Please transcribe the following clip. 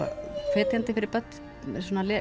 hvetjandi fyrir börn svona að